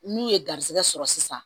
N'u ye garisigɛ sɔrɔ sisan